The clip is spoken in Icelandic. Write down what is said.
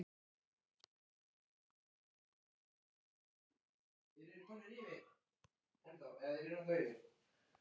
Neikvæðu tilfinningarnar lituðu alla hans líðan þessa stundina, líka lostann sem var blandinn hálfgerðri klígju.